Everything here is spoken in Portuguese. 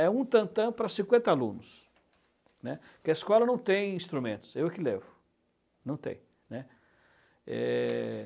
É um tantã para cinquenta alunos, porque a escola não tem instrumentos, eu que levo, não tem, né. É...